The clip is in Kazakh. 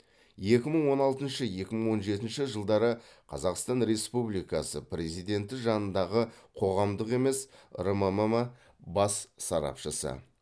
екі мың он алтыншы екі мың он жетінші жылдары қазақстан республикасы президенті жанындағы қоғамдық емес рммм бас сарапшысы